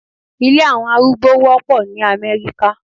Ilé àwọn arúgbó wọ́pọ̀ ní Amẹ́ríkà